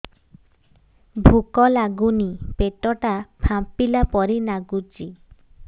ଭୁକ ଲାଗୁନି ପେଟ ଟା ଫାମ୍ପିଲା ପରି ନାଗୁଚି